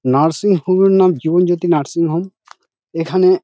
Nursing home -এর নাম Jibanjyoti nursing home. এখানে।